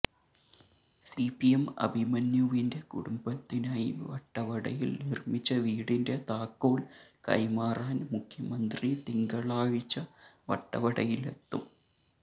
C P M അഭിമന്യുവിന്റെ കുടുംബത്തിനായി വട്ടവടയിൽ നിർമിച്ച വീടിന്റെ താക്കോൽ കൈമാറാൻ മുഖ്യമന്ത്രി തിങ്കാളാഴ്ച വട്ടവടയിലെത്തും